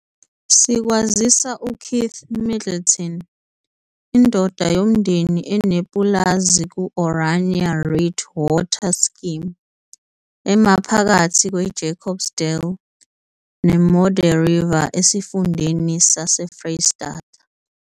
Sikwazisa uKeith Middleton, indoda yomndeni enepulazi kuOranje Riet water scheme emaphakathi kweJacobsdal neModderriver esifundeni saseFreyistata.